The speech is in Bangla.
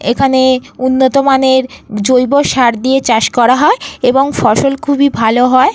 এখানে উন্নত মানের জৈব সার দিয়ে চাষ করা হয় এবং ফসল খুবই ভালো হয়।